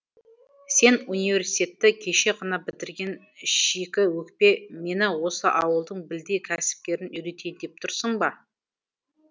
сен университетті кеше ғана бітірген шикіөкпе мені осы ауылдың білдей кәсіпкерін үйретейін деп тұрсың ба